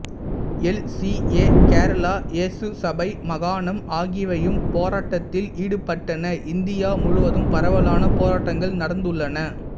L C A Kerala ஏசுசபை மாகாணம் ஆகியவையும் போராட்டத்தில் ஈடுபட்டன இந்தியா முழுவதும் பரவலான போராட்டங்கள் நடந்துள்ளன